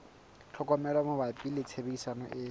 tlhokomelo mabapi le tshebediso e